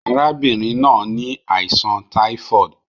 Arábínrin náà ni àìsàn typhoid